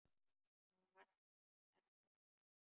Á hann ekkert í mér?